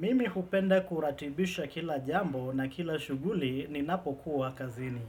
Mimi hupenda kuratibisha kila jambo na kila shughuli ninapokuwa kazini.